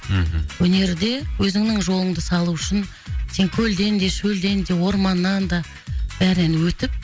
мхм өнерде өзіңнің жолыңды салу үшін сен көлден де шөлден де орманнан да бәрінен өтіп